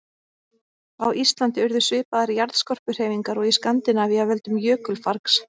Á Íslandi urðu svipaðar jarðskorpuhreyfingar og í Skandinavíu af völdum jökulfargs.